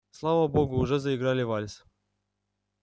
слава богу уже заиграли вальс